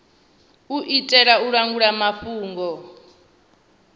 u itela u langula mafhungo